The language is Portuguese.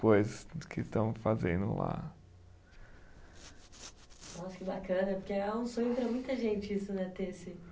Do que estão fazendo lá. Nossa, que bacana, porque é um sonho para muita gente isso, né, ter esse